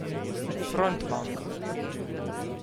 Frontmanka.